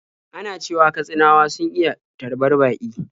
Ana cewa Katsinawa sun iya tarbar baƙi.